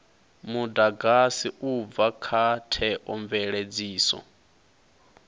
mudagasi u bva kha theomveledziso